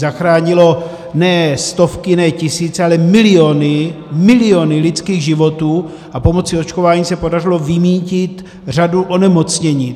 Zachránilo ne stovky, ne tisíce, ale miliony, miliony lidských životů a pomocí očkování se podařilo vymýtit řadu onemocnění.